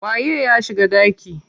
Waye ya shiga ɗaki?